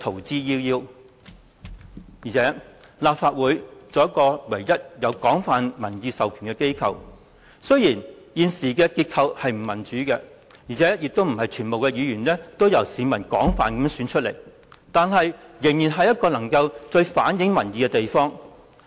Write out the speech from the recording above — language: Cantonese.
再者，立法會作為香港唯一擁有廣泛民意授權的機構，儘管現時的結構並不民主，並非全部議員皆由市民廣泛選出，但卻依然是最能反映民意的地方。